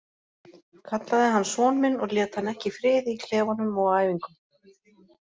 Kallaði hann son minn og lét hann ekki í friði í klefanum og á æfingum.